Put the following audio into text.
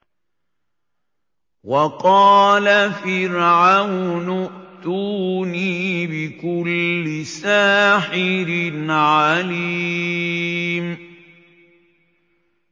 وَقَالَ فِرْعَوْنُ ائْتُونِي بِكُلِّ سَاحِرٍ عَلِيمٍ